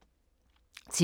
TV 2